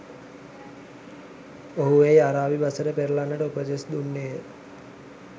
ඔහු එය අරාබි බසට පෙරලන්නට උපදෙස් දුන්නේය